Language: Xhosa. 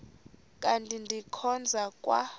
kanti ndikhonza kwa